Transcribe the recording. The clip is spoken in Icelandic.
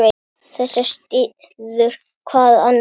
Þetta styður hvað annað.